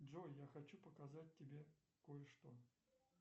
джой я хочу показать тебе кое что